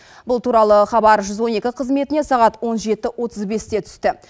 бұл туралы хабар жүз он екі қызметіне сағат он жеті отыз бесте түсті